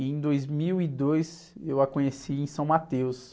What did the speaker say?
E em dois mil e dois, eu a conheci em São Mateus.